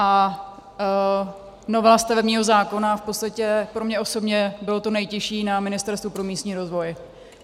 A novela stavebního zákona v podstatě pro mě osobně byla to nejtěžší na Ministerstvu pro místní rozvoj.